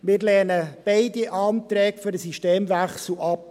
Wir lehnen beide Anträge auf einen Systemwechsel ab.